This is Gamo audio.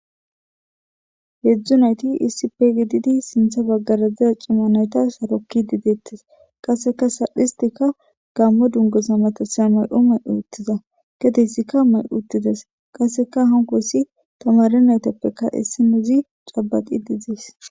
Heedzdzu nayti issipe gididi sintha baggarazeza cimma nayta sarokki dideettes qasseka saldhistika gammo dungoza matasaya may7o may7uuttiza gedeysika may7uttides qasseka hankoyssi tamare naytappeka issinozi cabaqi didies